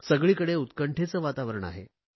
सगळीकडे उत्कंठेचे वातावरण आहे